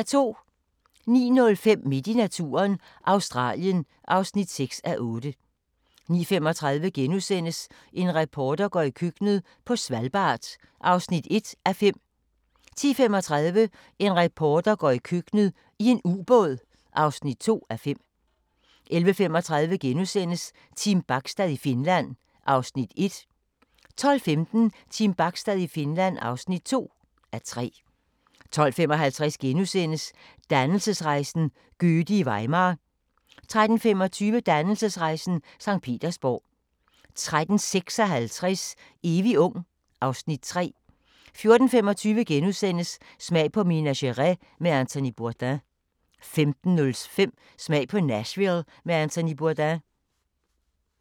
09:05: Midt i naturen – Australien (6:8) 09:35: En reporter går i køkkenet – på Svalbard (1:5)* 10:35: En reporter går i køkkenet - i en ubåd (2:5) 11:35: Team Bachstad i Finland (1:3)* 12:15: Team Bachstad i Finland (2:3) 12:55: Dannelsesrejsen - Goethe i Weimar * 13:25: Dannelsesrejsen - Sankt Petersborg 13:56: Evig ung (Afs. 3) 14:25: Smag på Minas Gerais med Anthony Bourdain * 15:05: Smag på Nashville med Anthony Bourdain